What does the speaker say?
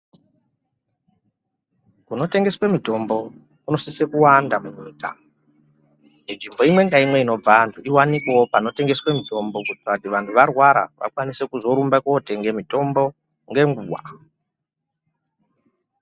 Kunotengeswe mutombo kunosise kuwanda munyika nzvimbo imwe ngaimwe inobva antu iwanikwewo panotengeswe mutombo kuitira kuti vantu varwara vakwanise kotenge mutombo ngenguwa.